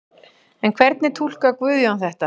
En hvernig túlkar Guðjón þetta?